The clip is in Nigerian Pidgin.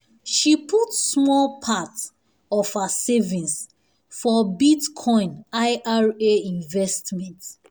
she put small part of her savings for bitcoin i r a investment.